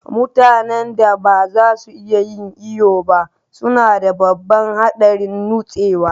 Mutanen da ba za su iya yin iyo ba suna da babban haɗarin nutsewa.